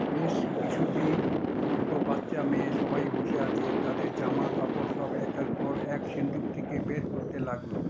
বেশ কিছুটি ছোট বাচ্চা মেয়ে সবাই বসে আছে, তাদের জামাকাপড় সব একের পর এক সিন্দুক থেকে বের করতে লাগলো।